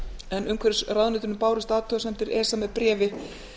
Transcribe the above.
en umhverfisráðuneytinu bárust athugasemdir esa með bréfi